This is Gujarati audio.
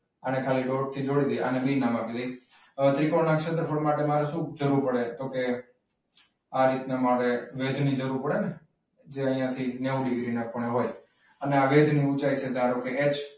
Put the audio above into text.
આને ખાલી ડોટ થી જોડી દઈએ અને બી નામ આપી દઈએ. હવે ત્રિકોણ ના ક્ષેત્રફળ માટે આપણે શું જરૂર પડે? તો કે આ રીતે આપણે વેધ જરૂર પડે ને જે અહીંયા થી નેવ ડિગ્રી ના ખૂણે હોય અને આ વેધની ઊંચાઈ છે ધારો કે એચ.